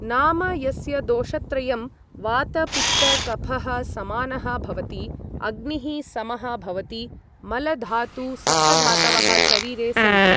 नाम यस्य दोषत्रयं वातपित्तकफः समानः भवति अग्निः समः भवति मल धातु सप्तधातवः शरीरे सन्ति ।